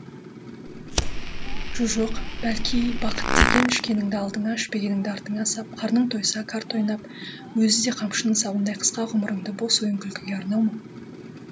жо жоқ бәлки бақыт деген ішкеніңді алдыңа ішпегеніңді артыңа сап қарның тойса қарта ойнап өзі де қамшының сабындай қысқа ғұмырыңды бос ойын күлкіге арнау ма